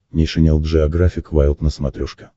нейшенел джеографик вайлд на смотрешке